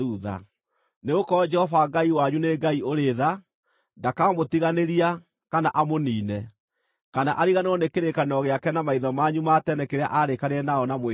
Nĩgũkorwo Jehova Ngai wanyu nĩ Ngai ũrĩ-tha; ndakamũtiganĩria, kana amũniine, kana ariganĩrwo nĩ kĩrĩkanĩro gĩake na maithe manyu ma tene kĩrĩa aarĩkanĩire nao na mwĩhĩtwa.